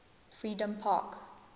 freedompark